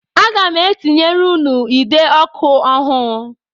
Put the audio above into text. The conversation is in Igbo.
Aga m etinyere ụnụ ide ọkụ ọhụụ